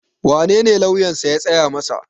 wanene lauyansa ya tsaya masa?